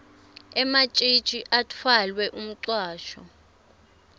ematjitji atfwele umcwasho